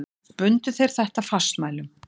Bundu þeir þetta fastmælum.